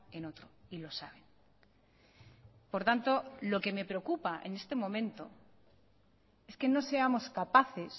en otro y lo saben por tanto lo que me preocupa en este momento es que no seamos capaces